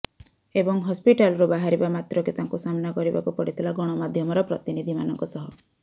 ଏବଂ ହସ୍ପିଟାଲରୁ ବାହାରିବା ମାତ୍ରକେ ତାଙ୍କୁ ସାମ୍ନା କରିବାକୁ ପଡିଥିଲା ଗଣମାଧ୍ୟମର ପ୍ରତିନିଧିମାନଙ୍କ ସହ